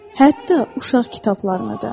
Hətta uşaq kitablarını da.